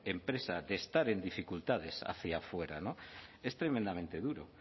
empresa de estar en dificultades hacia fuera no es tremendamente duro